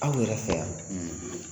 Aw yɛrɛ fɛ yan